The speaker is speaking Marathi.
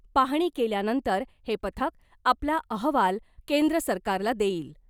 पाहणी केल्यानंतर हे पथक आपला अहवाल केंद्र सरकारला देईल .